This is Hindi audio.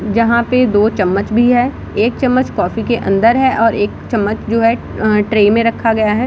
जहां पे दो चम्मच भी है। एक चम्मच कॉफी के अंदर है और एक चम्मच जो है ट्रे में रखा गया है।